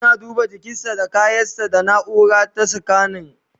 Suna duba jikinsa da kayan sa da naura ta scanning